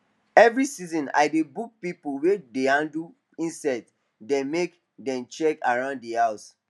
every season i dey book people wey dey handle insects dem make dem check around the house